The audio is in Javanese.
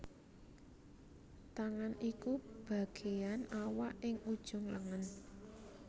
Tangan iku bagéan awak ing ujung lengen